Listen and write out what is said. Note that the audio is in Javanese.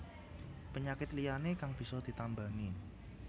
Penyakit liyané kang bisa ditambani